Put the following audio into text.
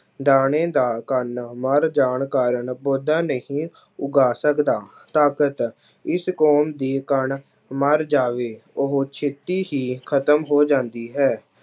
ਦਾਣੇ ਦਾ ਕਣ ਮਰ ਜਾਣ ਕਾਰਨ ਪੌਦਾ ਨਹੀਂ ਉਗਾ ਸਕਦਾ, ਤਾਕਤ ਇਸ ਕੌਮ ਦੀ ਕਣ ਮਰ ਜਾਵੇ ਉਹ ਛੇਤੀ ਹੀ ਖ਼ਤਮ ਹੋ ਜਾਂਦੀ ਹੈ।